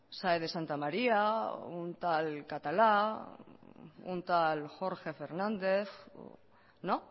sáez de santamaría o un tal catalá un tal jorge fernández no